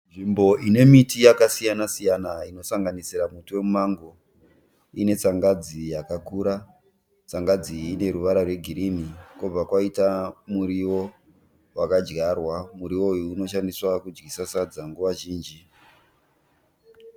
Nzvimbo ine miti yakasiyana-siyana inosanganisira muti wemumango ine tsangadzi yakakura. Tsangadzi iyi ine ruvara rwegirini. Kobva kwaita muriwo wakadyarwa. Muriwo uyu unoshandiswa kudyisa sadza nguva zhinji.